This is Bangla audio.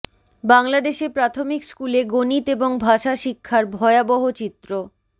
বাংলাদেশে প্রাথমিক স্কুলে গণিত এবং ভাষা শিক্ষার ভয়াবহ চিত্র